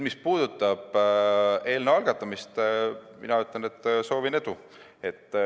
Mis puudutab eelnõu algatamist, siis mina soovin edu.